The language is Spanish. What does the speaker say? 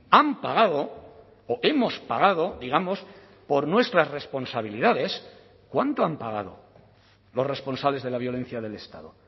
han pagado o hemos pagado digamos por nuestras responsabilidades cuánto han pagado los responsables de la violencia del estado